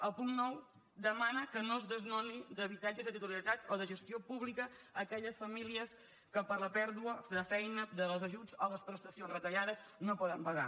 el punt nou demana que no es desnoni d’habitatges de titularitat o de gestió pública aquelles famílies que per la pèrdua de feina dels ajuts o les prestacions retallades no poden pagar